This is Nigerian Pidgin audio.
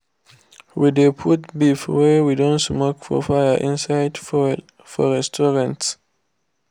we de put beef wey we don smoke for fire inside foil for restaurants.